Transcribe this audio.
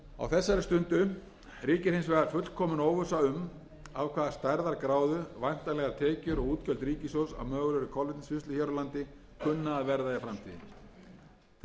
þessari stundu ríkir hins vegar fullkomin óvissa um af hvaða stærðargráðu væntanlegar tekjur og útgjöld ríkissjóðs af mögulegri kolvetnisvinnslu hér á landi kunna að verða í framtíðinni talið er